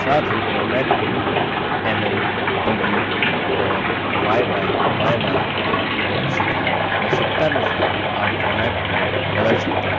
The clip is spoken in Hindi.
साथ ही format code mm dd और yyyy के रूप में प्रदर्शित है आवश्यकतानुसार आप format code बदल सकते हैं